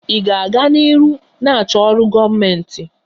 Ị ga-aga n'ihu na-achọ ọrụ gọọmentị?